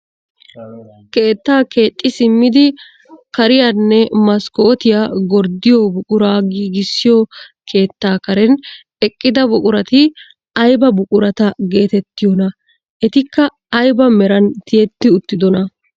Keettaa keexxi simmidi kaariyaanne maskkotiyaa gorddiyo buquraa giigissiyo keettaa karen eqqida buqurati ayba buqurata getettiyoonaa? Etikka ayba meran tiyetti uttidonaa?